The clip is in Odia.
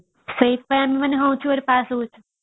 ସେଇଥିପାଇଁ ଆମେମାନେ which year ରେ pass ହେଇଯାଉଥିଲେ